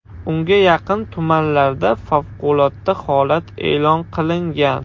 Unga yaqin tumanlarda favqulodda holat e’lon qilingan.